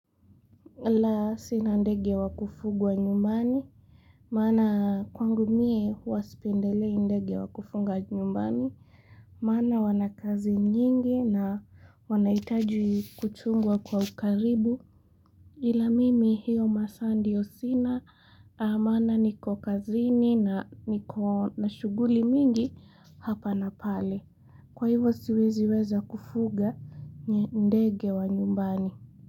La sina ndege wa kufugwa nyumbani. Maana kwangu mie huwa sipendelei ndege wa kufunga nyumbani. Maana wana kazi nyingi na wanaitaji kuchungwa kwa ukaribu. Ila mimi hiyo masaa ndio sina maana niko kazi ni na niko na shuguli mingi hapa na pale. Kwa hivyo siweziweza kufuga ndege wa nyumbani.